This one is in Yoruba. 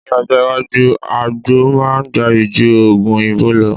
Ní ọjọ́ iwájú, àgbo máa gbayì ju Ògùn òyìnbó lọ